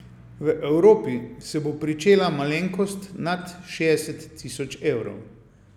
V Evropi se bo pričela malenkost nad šestdeset tisoč evrov.